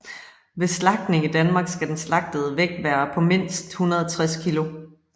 Ved slagtning i Danmark skal den slagtede vægt være på mindst 160 kg